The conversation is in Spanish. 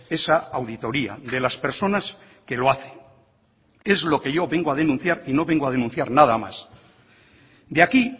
esa auditoría de las personas que lo hacen es lo que yo vengo a denunciar y no vengo a denunciar nada más de aquí